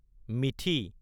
methi